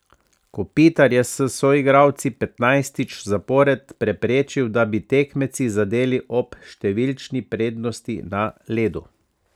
Kopitar je s soigralci petnajstič zapored preprečil, da bi tekmeci zadeli ob številčni prednosti na ledu.